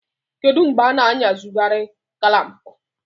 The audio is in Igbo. Kedu mgbe a na-eyuzukari klampu?